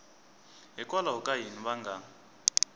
hikwalaho ka yini va nga